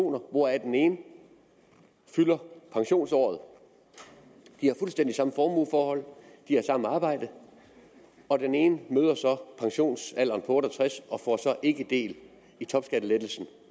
hvoraf den ene fylder pensionsåret de har fuldstændig samme formueforhold de har samme arbejde og den ene møder så pensionsalderen på otte og tres år og får ikke del i topskattelettelsen